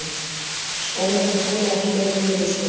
Skólarnir þola ekki meiri niðurskurð